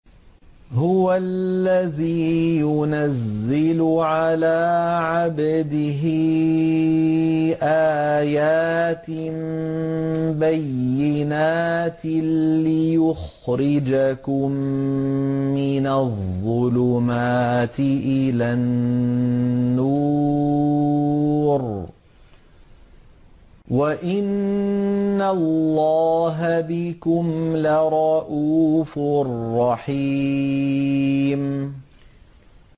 هُوَ الَّذِي يُنَزِّلُ عَلَىٰ عَبْدِهِ آيَاتٍ بَيِّنَاتٍ لِّيُخْرِجَكُم مِّنَ الظُّلُمَاتِ إِلَى النُّورِ ۚ وَإِنَّ اللَّهَ بِكُمْ لَرَءُوفٌ رَّحِيمٌ